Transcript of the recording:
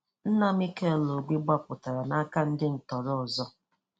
Nna Mikel Obi gbapụtara n'aka ndị tọọrọ ndị tọọrọ ọzọ.